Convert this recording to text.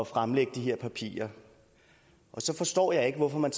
fremlægge de her papirer og så forstår jeg ikke hvorfor man